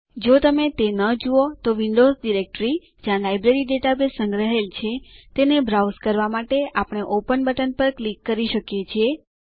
જો તમે તે ન જુઓ તો વિન્ડોઝ ડાયરેક્ટરી જ્યાં લાયબ્રેરી ડેટાબેઝ સંગ્રહાયેલ છે તેને બ્રાઉઝ કરવા માટે આપણે ઓપન બટન પર ક્લિક કરી શકીએ છીએ